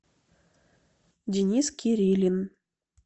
денис кириллин